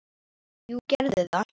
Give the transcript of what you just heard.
Jú, gerðu það